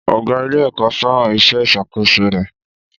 Ọ̀gá ilé-ẹ̀kọ́ fẹ́ràn iṣẹ́ ìṣàkóso rẹ̀.